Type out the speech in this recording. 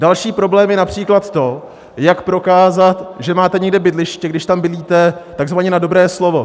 Další problém je například to, jak prokázat, že máte někde bydliště, když tam bydlíte takzvaně na dobré slovo.